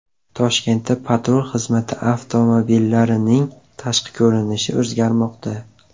Toshkentda patrul xizmati avtomobillarining tashqi ko‘rinishi o‘zgarmoqda .